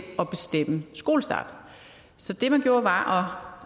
at bestemme skolestarten så det man gjorde var